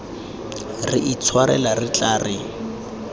re itshwarela re tla re